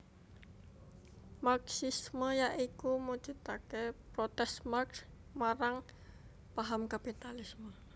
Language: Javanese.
Marxisme ya iku mujudake protes Marx marang paham kapitalisme